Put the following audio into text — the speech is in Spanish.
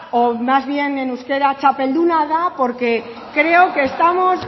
o más bien en euskera txapelduna da porque creo que estamos